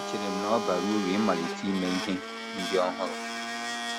Echere m na ọ bara uru ịmalite ime ihe ndị ọhụrụ. ”